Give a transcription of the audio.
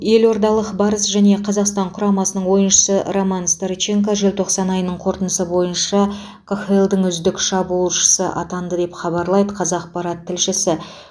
елордалық барыс және қазақстан құрамасының ойыншысы роман старченко желтоқсан айының қорытындысы бойынша қхл дың үздік шабуылшысы атанды деп хабарлайды қазақпарат тілшісі